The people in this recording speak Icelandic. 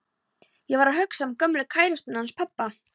Ég var að hugsa um gömlu kærustuna hans pabba.